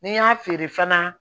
N'i y'a feere fana